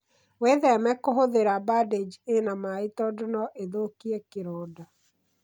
Witheme kũhũthĩra bandĩji ĩna maĩ tondũ no ĩthũkie kĩronda.